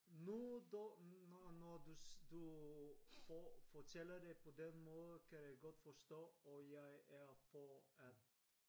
Nu da når du for fortæller det på den måde kan jeg godt forstå og jeg er for at